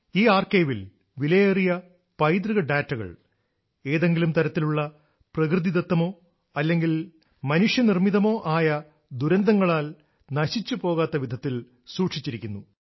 ഈ ആർക്കൈവിൽ വിലയേറിയ പൈതൃക ഡാറ്റകൾ ഏതെങ്കിലും തരത്തിലുള്ള പ്രകൃതിദത്തമോ അല്ലെങ്കിൽ മനുഷ്യനിർമ്മിതമോ ആയ ദുരന്തങ്ങളാൽ നശിച്ചു പോകാത്ത വിധത്തിൽ സൂക്ഷിച്ചിരിക്കുന്നു